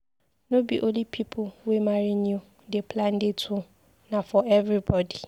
No be only people wey marry new dey plan dates o, na for everybodi.